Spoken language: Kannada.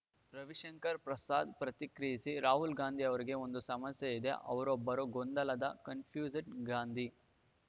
ರವಿಶಂಕರ ಪ್ರಸಾದ್‌ ಪ್ರತಿಕ್ರಿಯಿಸಿ ರಾಹುಲ್‌ ಗಾಂಧಿ ಅವರಿಗೆ ಒಂದು ಸಮಸ್ಯೆಯಿದೆ ಅವರೊಬ್ಬ ಗೊಂದಲದ ಕನ್‌ಫ್ಯಸ್ಡ್‌ ಗಾಂಧಿ